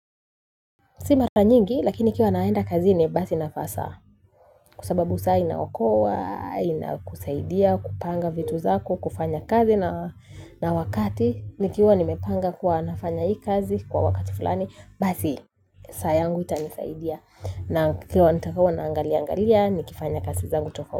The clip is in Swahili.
Si mara nyingi, lakini ikiwa naenda kazini basi inafasa. Kwa sababu saa inaokoa, inakusaidia, kupanga vitu zako, kufanya kazi na wakati. Nikiwa nimepanga kuwa nafanya hii kazi kwa wakati fulani. Basi, saa yangu itanisaidia. Naam kukiwa nitakua naangalia-angalia, nikifanya kazi zangu tofauti.